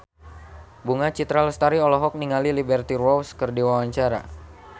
Bunga Citra Lestari olohok ningali Liberty Ross keur diwawancara